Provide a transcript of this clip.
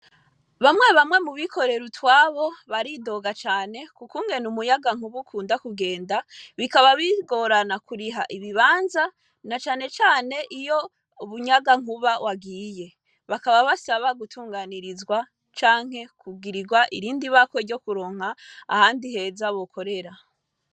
Bamwe bamwe mu bikorera utwabo baridoga cane ku kungene umuyagankuba ukunda kugenda, bikaba bigorana kuriha ibibanza na cane cane iyo umuyagankuba wagiye. Bakaba basaba gutunganirizwa canke kugirirwa irindi bakwe ryo kuronka ahandi heza bokorera.